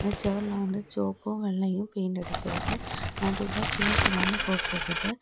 செவர்ல வந்து சொவப்பு வெள்ளையு பெயிண்ட் அடிச்சிற்கு நடுவுல சிவா சிவான்னு போட்டிற்குது.